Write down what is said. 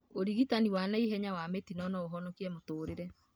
ũrigitani wa naihenya wa mĩtino noũhonikie mĩtũrĩre